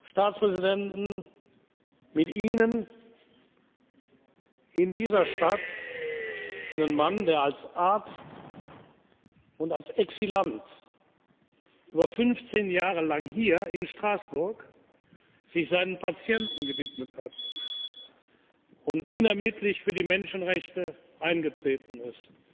Staatspräsidenten, mit Ihnen, in dieser Stadt einen Mann, der sich als Arzt und als Exilant über 15 Jahre lang hier in Straßburg seinen Patienten gewidmet hat und unermüdlich für die Menschenrechte eingetreten ist.